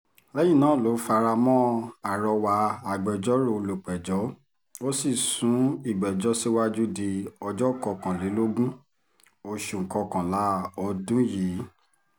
lẹ́yìn náà ló fara mọ́ àrọwà agbẹjọ́rò olùpẹ̀jọ́ ó sì sún ìgbẹ́jọ́ síwájú di ọjọ́ kọkànlélógún oṣù kọkànlá ọdún yìí